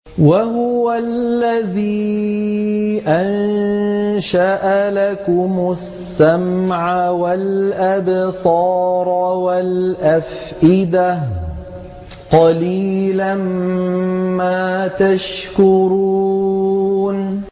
وَهُوَ الَّذِي أَنشَأَ لَكُمُ السَّمْعَ وَالْأَبْصَارَ وَالْأَفْئِدَةَ ۚ قَلِيلًا مَّا تَشْكُرُونَ